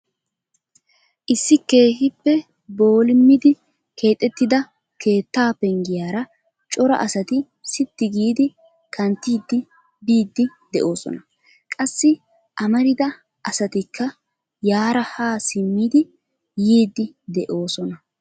Issi keehippe boolimiddi keexxettida keettaa penggiyaara cora asati sitti giidi kanttidi biidi de'oosona. Qassi amarida asatikka yaara ha simmidi yiidi de'oosona.